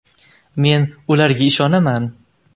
Men ularga ishonaman!